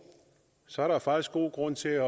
så er der jo faktisk god grund til at